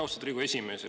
Austatud Riigikogu esimees!